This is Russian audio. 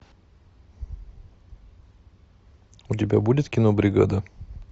у тебя будет кино бригада